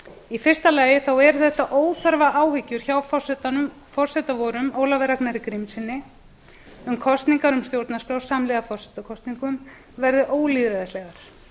í fyrsta lagi eru þetta óþarfaáhyggjur hjá forseta vorum ólafi ragnari grímssyni um að kosningar um stjórnarskrá samhliða forsetakosningum verði ólýðræðislegar